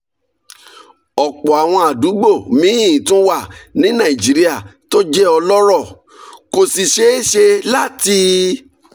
ọ̀pọ̀ àwọn àdúgbò míì tún wà ní nàìjíríà tó jẹ́ ọlọ́rọ̀ kò sì ṣeé ṣe láti